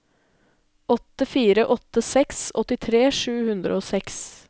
åtte fire åtte seks åttitre sju hundre og seks